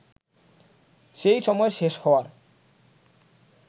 সেই সময় শেষ হওয়ার